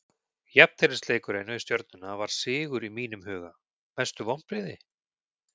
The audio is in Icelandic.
Jafnteflisleikurinn við stjörnuna var sigur í mínum huga Mestu vonbrigði?